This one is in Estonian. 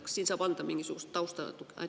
Kas siin saab anda mingisugust tausta natuke?